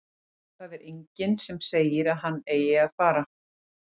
Það er enginn sem segir að hann eigi að fara.